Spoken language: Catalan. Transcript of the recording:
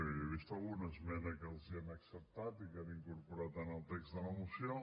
jo he vist alguna esmena que els han acceptat i que han incorporat en el text de la moció